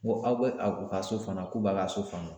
Ko aw bɛ a u ka so fana k'u b'a ka so kɔnɔ.